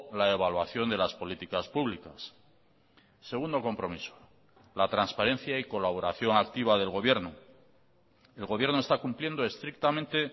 la evaluación de las políticas públicas segundo compromiso la transparencia y colaboración activa del gobierno el gobierno está cumpliendo estrictamente